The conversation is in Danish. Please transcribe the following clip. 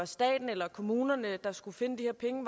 staten eller kommunerne der skal finde de her penge